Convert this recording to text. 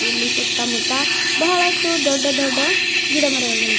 ಇಲ್ಲಿ ಸುತ್ತಮುತ್ತ ಬಹಳಷ್ಟು ದೊಡ್ಡ ದೊಡ್ಡ ಗಿಡಮರಗಳಿವೆ.